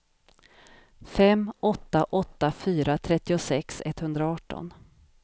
fem åtta åtta fyra trettiosex etthundraarton